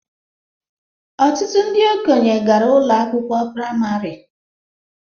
Ọtụtụ ndị okenye gara ụlọ akwụkwọ praịmarị